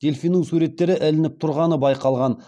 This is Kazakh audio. дельфиннің суреттері ілініп тұрғаны байқалған